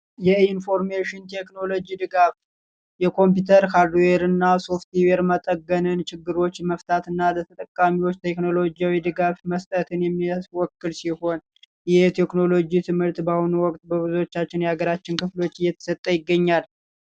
የኢንፎርሜሽን ቴክኖሎጂ ድጋፍ የኮምፒዩተርና ሶፍትዌር መጠገነን ችግሮች መፍታትና ቴክኖሎጂ ድጋፍ መስጠት ወክል ሲሆን የቴክኖሎጂ ትምህርት በአሁኑ ወቅቶቻችን ክፍሎች እየተሰጠ ይገኛል